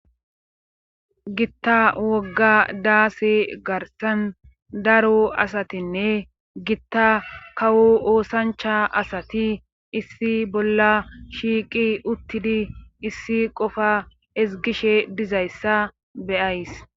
Gitta wogga daase garsan daro asatinne gitta kawo oosancha asati issi bolla shiiqi uttidi issi qofa ezgishe dizayssa beyays.